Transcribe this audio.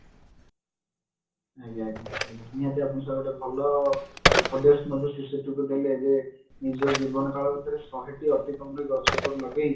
ଆଜ୍ଞା ଆଜ୍ଞା ଆଜ୍ଞା ନିହାତି ଆପଣ ଗୋଟେ ଭଲ ଉପଦେଶ ମଧ୍ୟ ଶିଶୁଟିକୁ ଦେଲେ ଯେ ନିଜ ଜୀବନ କାଳ ଭିତରେ ଶହେଟି ଅତି କମରେ ଗଛ ଲଗେଇ